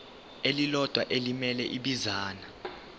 elilodwa elimele ibinzana